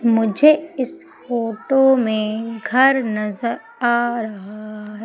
मुझे इस फोटो में घर नजर आ रहा है।